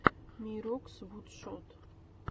мирокс вудшод